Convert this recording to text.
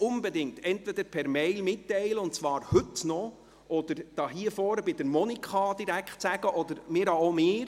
Teilen Sie dies bitte unbedingt per E-Mail mit, und zwar noch heute, oder teilen Sie es direkt der Weibelin Monika Müller mit oder meinetwegen auch mir.